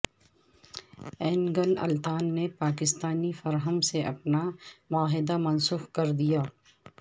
اینگن Altan نے Pakistani firm سے اپنا معاہدہ منسوخ کردیا